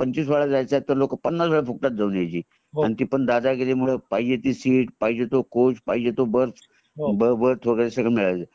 पंचवीस वेळ जायच असेल तर लोकं पन्नास वेळा फुकटात जाऊन यायची आणि ती पण दादागिरी मुळे पाहिजे ती सीट पाहिजे तो कोच बर्थ बर्थ वगैरे सगळं मिळायच